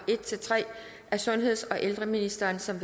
en tre af sundheds og ældreministeren som